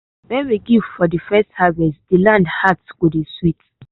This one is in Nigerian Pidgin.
when we give for de first harvest de land heart go dey sweet.